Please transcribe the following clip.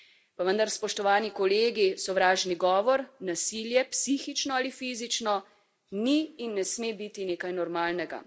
Pa vendar, spoštovani kolegi, sovražni govor, nasilje psihično ali fizično ni in ne sme biti nekaj normalnega.